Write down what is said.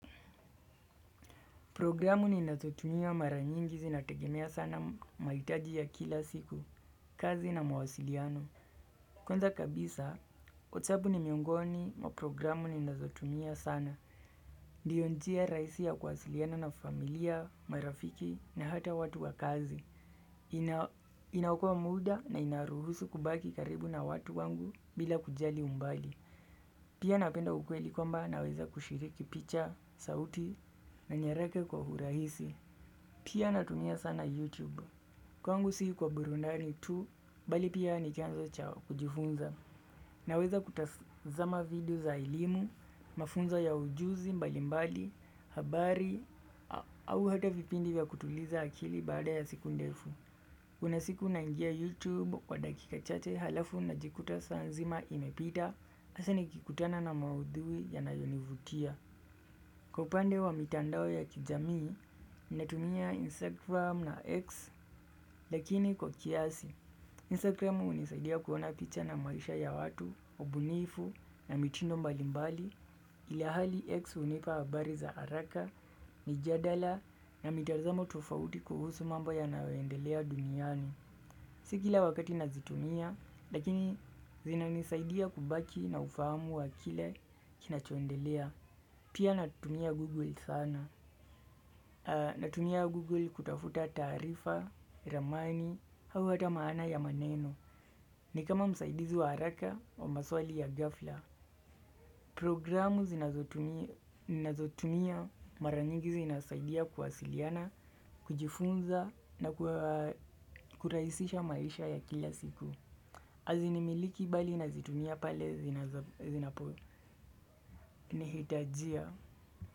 Programu ni nazotumia maranyingi zinategemea sana mahitaji ya kila siku, kazi na mawasiliano. Kwanza kabisa, whatsapp ni miongoni wa programu ninazotumia sana. Ndiyo njia rahisi ya kwasiliana na familia, marafiki na hata watu wa kazi. Inaokoa muda na ina ruhusu kubaki karibu na watu wangu bila kujali umbali. Pia napenda ukweli kwamba naweza kushiriki picha, sauti na nyaraka kwa urahisi. Pia natumia sana YouTube, kwangu si kwa burundani tu, bali pia nichanzo cha kujifunza. Naweza kutazama video za elimu, mafunzo ya ujuzi mbali mbali, habari, au hata vipindi ya kutuliza akili baada ya siku ndefu. Kuna siku naingia YouTube kwa dakika chache halafu najikuta saa nzima imepita, hasa nikikutana na maudhui yanayonivutia. Kwa upande wa mitandao ya kijamii, ninatumia Instagram na X lakini kwa kiasi. Instagram hjunisaidia kuona picha na maisha ya watu, ubunifu na mitindo mbalimbali ilihali X unipa habari za haraka. Mijadala na mitazamo tofauti kuhusu mambo yanayo endelea duniani. Si kila wakati nazitumia, lakini zinanisaidia kubaki na ufahamu wa kile kinachoendelea. Pia natumia Google sana. Natumia Google kutafuta taarifa, ramani, hau hata maana ya maneno. Ni kama msaidizi wa haraka wa maswali ya gafla. Programu nazotumia mara nyingi zinasaidia kuwasiliana, kujifunza na kurahisisha maisha ya kila siku. Azinimiliki bali nazitumia pale zinapo nihitajia.